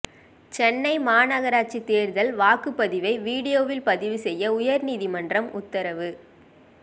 சென்னை மாநகராட்சி தேர்தல் வாக்குப் பதிவை வீடியோவில் பதிவு செய்ய உயர்நீதிமன்றம் உத்தரவு